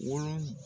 Wolo